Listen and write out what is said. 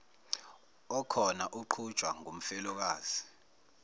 okhona uqhutshwa ngumfelokazi